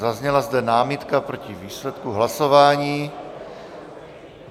Zazněla zde námitka proti výsledku hlasování.